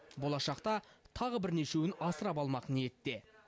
болашақта тағы бірнешеуін асырап алмақ ниетте